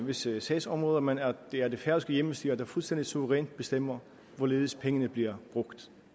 visse sagsområder men at det er det færøske hjemmestyre der fuldstændig suverænt bestemmer hvorledes pengene bliver brugt